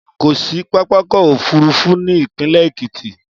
Kò sí pápákọ̀ òfúrufú ní ìpínlẹ̀ Èkìtì.